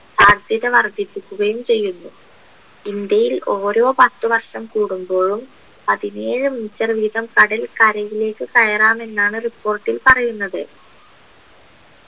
സാധ്യത വർധിപ്പിക്കുകയും ചെയ്യുന്നു ഇന്ത്യയിൽ ഓരോ പത്ത് വർഷം കുടുമ്പോളും പതിനേഴ് meter വീതം കടൽ കരയിലേക്ക് കയറാം എന്നാണ് report ൽ പറയുന്നത്